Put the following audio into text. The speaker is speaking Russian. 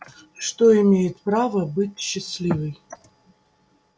что имеет право быть счастливой